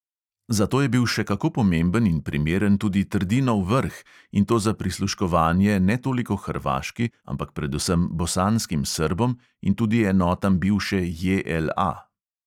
Za to je bil še kako pomemben in primeren tudi trdinov vrh, in to za prisluškovanje ne toliko hrvaški, ampak predvsem bosanskim srbom in tudi enotam bivše JLA.